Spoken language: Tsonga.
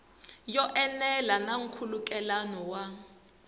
yo enela na nkhulukelano wa